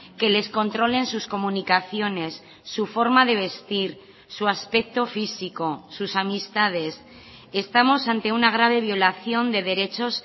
que les controlen sus comunicaciones su forma de vestir su aspecto físico sus amistades estamos ante una grave violación de derechos